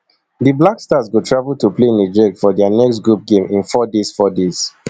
di black stars go travel to play niger for dia next group game in four days four days